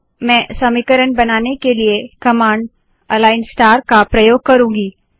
मैं समीकरण बनाने के लिए कमांड अलाइन स्टार का प्रयोग करुँगी